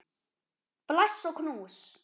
Bless og knús.